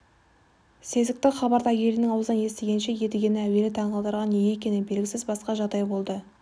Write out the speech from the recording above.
сезікті хабарды әйелінің аузынан естігенше едігені әуелі таңғалдырған неге екені белгісіз басқа жағдай болды